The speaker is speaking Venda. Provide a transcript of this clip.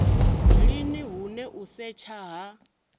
lini hune u setsha ha